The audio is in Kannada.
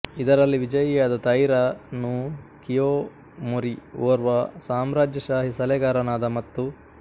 ಇದರಲ್ಲಿ ವಿಜಯಿಯಾದ ತೈರಾ ನೊ ಕಿಯೊಮೊರಿ ಓರ್ವ ಸಾಮ್ರಾಜ್ಯಶಾಹಿ ಸಲಹೆಗಾರನಾದ ಮತ್ತು